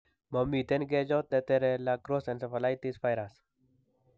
Momiten kechot netere La Crosse encephalities virus